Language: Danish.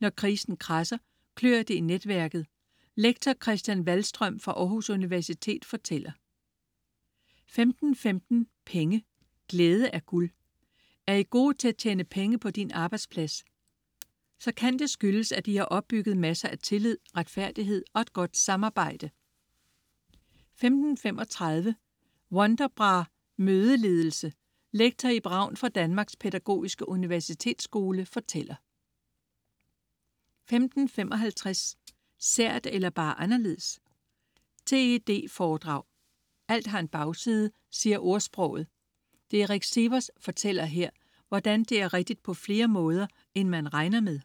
Når krisen kradser, klør det i netværket. Lektor Christian Waldstrøm fra Aarhus Universitet fortæller 15.15 Penge: Glæde er guld. Er I gode til at tjene penge på din arbejdsplads? Så kan det skyldes, at I har opbygget masser af tillid, retfærdighed og et godt samarbejde 15.35 Wonderbra-mødeledelse. Lektor Ib Ravn fra Danmarks Pædagogiske Universitetsskole fortæller 15.55 Sært, eller bare anderledes? TED foredrag. Alt har en bagside, siger ordsproget. Derek Sivers fortæller her, hvordan det er rigtig på flere måder, end man regner med